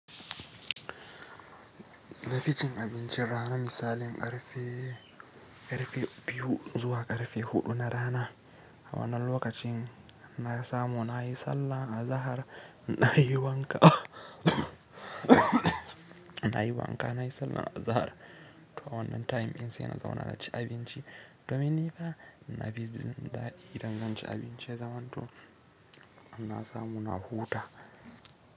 Nafi cin abincin rana misalin karfe, karfe biyu zuwa karfe huɗu na rana. A wannan lokacin, na samu na yi sallar azahar, na yi wanka, na yi wanka, na yi sallar azahar. To a wannan time din sai na zauna na ci abinci. Domin ni fa na jin dadi, da idan zan ci abinci zamanto na samu na huta.